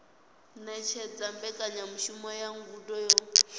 ṅetshedza mbekanyamushumo ya ngudo yo